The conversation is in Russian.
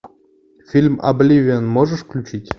фильм обливион можешь включить